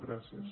gràcies